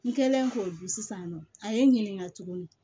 N kɛlen k'o dun sisan nɔ a ye n ɲininka tuguni